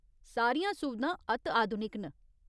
सारियां सुविधां अत्त आधुनिक न।